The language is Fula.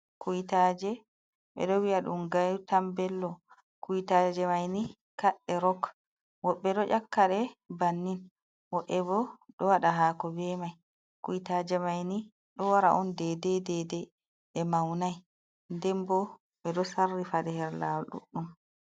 Kuwtaaje, ɓe ɗo wi'a ɗum gawtan Bello. Kuwtaaje mai ni kaɗɗe rok, woɓɓe ɗo ekkaɗe banni, woɓɓe bo ɗo waɗa haako bee mai. Kuwtaaje manngo ɗo wara daidai daidai, ɗe mawnai. Den bo ɓe ɗo sarrifa ɗe her laawol ɗuɗɗum.